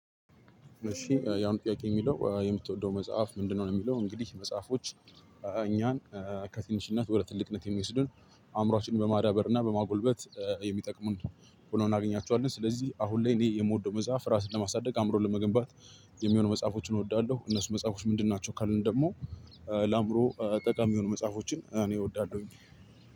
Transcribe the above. እሺ የአሁኑ ጥያቄ የሚለው የምትወደው መጽሐፍ ምንድነው? ነው የሚለው እንግዲህ መጽሐፎች እኛን ከትንሽነት ወደ ትልቅነት የሚወስዱን አእምሮአችንን በማዳበር እና በማጎልበት የሚጠቅሙን ሆኖ እናገኛቸዋለን። ስለዚህ አሁን ላይ እኔ የምወደው መጽሐፍ ራስን ለማሳደግ አእምሮን ለመገንባት የሚሆኑ መጽሐፎችን እወዳለሁ። እነሱ መጽሐፎች ምንድን ናቸው? ካልን ደግሞ ለአይምሮ ጠቃሚ የሆኑ መፅሐፎችን እኔ እወዳለሁኝ።